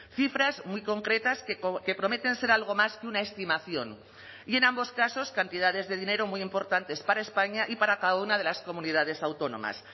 cifras muy concretas que prometen ser algo más que una estimación y en ambos casos cantidades de dinero muy importantes para españa y para cada una de las comunidades autónomas